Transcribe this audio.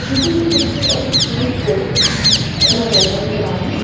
this is a picture of a food court in an open ground.